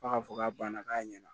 F'a k'a fɔ k'a banna k'a ɲɛna